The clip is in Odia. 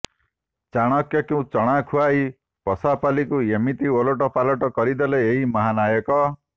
ଚାଣକ୍ୟଙ୍କୁ ଚଣା ଖୁଆଇ ପଶାପାଲିକୁ ଏମିତି ଓଲଟପାଲଟ କରିଦେଲେ ଏହି ମହାନାୟକ